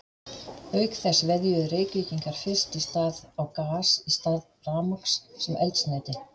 Auk þess veðjuðu Reykvíkingar fyrst í stað á gas í stað rafmagns sem eldsneyti.